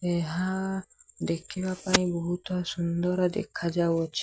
ଏହା ଦେଖି ବା ପାଇଁ ବହୁତ ସୁନ୍ଦର ଦେଖା ଯାଉଅଛି।